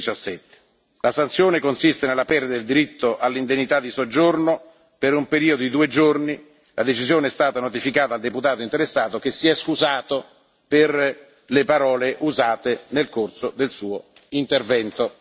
2017. La sanzione consiste nella perdita del diritto all'indennità di soggiorno per un periodo di due giorni. La decisione è stata notificata al deputato interessato, che si è scusato per le parole usate nel corso del suo intervento.